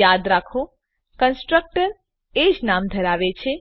યાદ રાખો કન્સ્ટ્રક્ટર એજ નામ ધરાવે છે